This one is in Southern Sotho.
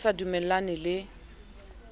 ne a sa dumellane le